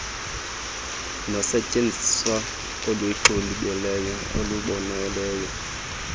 nosetyenziso oluxubileyo olubonelela